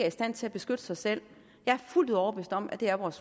i stand til at beskytte sig selv jeg er fuldt ud overbevist om at det er vores